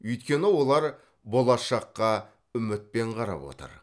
өйткені олар болашаққа үмітпен қарап отыр